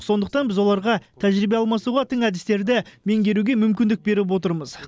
сондықтан біз оларға тәжірибе алмасуға тың әдістерді меңгеруге мүмкіндік беріп отырмыз